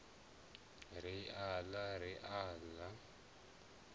ri aḽa ri al a